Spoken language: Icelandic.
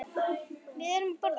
Hvað erum við að borða?